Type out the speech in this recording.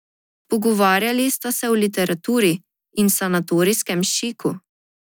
Pogovarjali sta se o literaturi in sanatorijskem šiku.